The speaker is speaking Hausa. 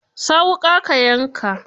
Sa wuƙa ka yanka.